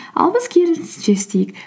ал біз керісінше істейік